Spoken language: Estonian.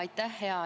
Aitäh!